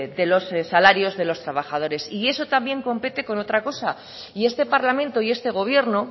de los salarios de los trabajadores y eso también compete con otra cosa y este parlamento y este gobierno